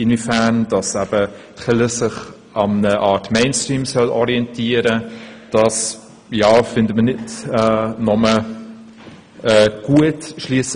Wir finden es nicht nur gut, wenn sich die Kirche am Mainstream orientiert.